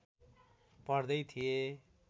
पढ्दै थिए